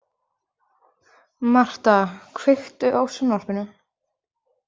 Marta, kveiktu á sjónvarpinu.